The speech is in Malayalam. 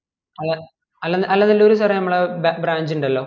അല അലാ അലനെലൂര് sir എ നമ്മളെ ബ്ര branch ഇണ്ടലോ